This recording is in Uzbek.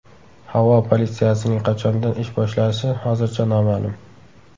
Havo politsiyasining qachondan ish boshlashi hozircha noma’lum.